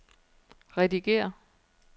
redigér